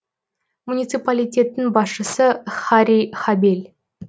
муниципалитеттің басшысы харри хабель